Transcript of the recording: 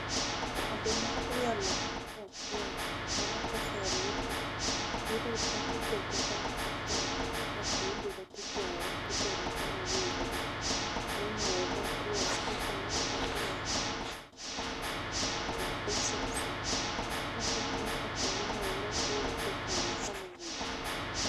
Oduma iyalo kamoro achiel, mano koserithe. Irithe tikete kamoro achiel, kasto ibiro tigawe titere kamowinjore, timoye botuwo. Kosemoye botuwo, to isuse. Kosesuse, kendo imoye botuwo tikane kama owinjore.